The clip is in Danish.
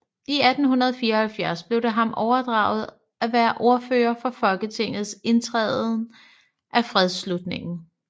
I 1864 blev det ham overdraget at være ordfører for Folketingets tiltræden af fredsslutningen